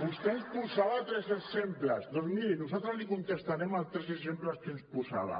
vostè ens posava tres exemples doncs miri nosaltres li contestarem els tres exemples que ens posava